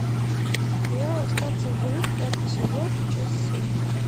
сериал остаться в живых пятый сезон часть семь